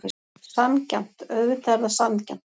Sanngjarnt, auðvitað er það sanngjarnt.